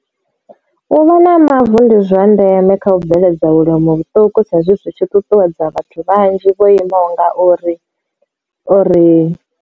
U vha na mavu ndi zwa ndeme kha u bveledza vhulimi vhuṱuku sa ezwi zwitshi ṱuṱuwedza vhathu vhanzhi vho imaho nga uri uri.